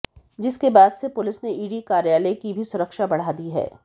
जिसके बाद से पुलिस ने ईडी कार्यालय की भी सुरक्षा बबढ़ा दी है